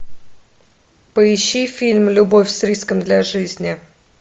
поищи фильм любовь с риском для жизни